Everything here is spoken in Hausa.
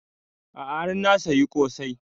A'a har na saya ƙosai